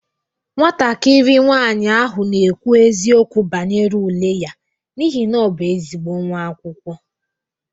Nwatakịrị nwanyị ahụ na-ekwu eziokwu banyere ule ya n'ihi na ọ bụ ezigbo nwa akwụkwọ.